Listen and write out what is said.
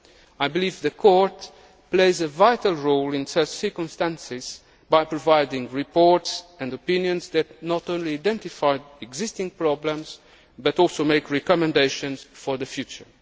the past. I believe the Court plays a vital role in such circumstances by providing reports and opinions that not only identify existing problems but also make recommendations for the